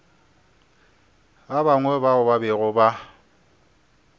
bangwe bao ba bego ba